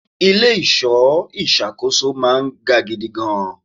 Ilẹ̀ ìṣọ́ ìṣàkóso máa ń ga gidigan.